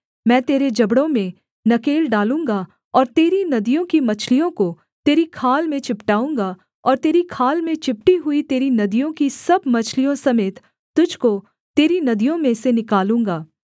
मैं तेरे जबड़ों में नकेल डालूँगा और तेरी नदियों की मछलियों को तेरी खाल में चिपटाऊँगा और तेरी खाल में चिपटी हुई तेरी नदियों की सब मछलियों समेत तुझको तेरी नदियों में से निकालूँगा